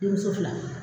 Denmuso fila ye